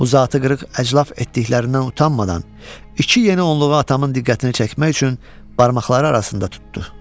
Uzaqatı qırıq əclaf etdiklərindən utanmadan, iki yeni onluğu atamın diqqətini çəkmək üçün barmaqları arasında tutdu.